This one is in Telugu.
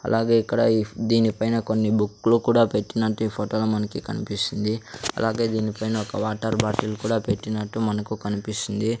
అలాగే ఇక్కడ ఇఫ్ దీనిపైన కొన్ని బుక్లు కూడా పెట్టినట్టు ఈ ఫొటో లో మనకి కన్పిస్తుంది అలాగే దీనిపైన ఒక వాటర్ బాటిల్ కూడా పెట్టినట్టు మనకు కనిపిస్తుంది.